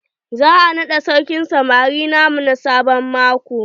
Za a naɗa sarkin samari na mu sabon maƙo.